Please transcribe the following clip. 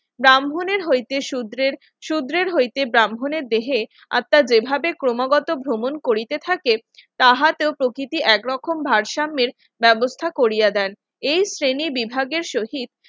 ব্রাহ্মণের হইতে সূত্রের সূত্রের হইতে ব্রাহ্মণের দেহে আত্মা যেভাবে ক্রমাগত ভ্রমণ করিতে থাকে তাহা তো প্রকৃতি এক রকম ভারসাম্যের ব্যবস্থা করিয়া দেন এই শ্রেণীবিভাগের শহীদ